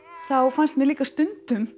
þá fannst mér líka stundum